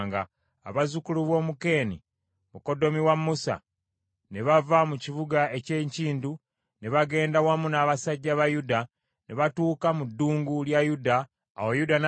Abazzukulu b’Omukeeni, mukoddomi wa Musa ne bava mu kibuga eky’enkindu ne bagendera wamu n’abasajja ba Yuda ne batuuka mu ddungu lya Yuda eryali mu bukiikaddyo obwa Aladi ne babeera wamu n’abantu baayo.